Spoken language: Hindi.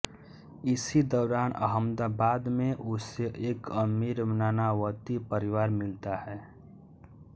इसी दौरान अहमदाबाद में उसे एक अमीर नानावती परिवार मिलता है